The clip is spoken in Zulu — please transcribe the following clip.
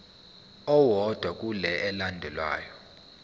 owodwa kule elandelayo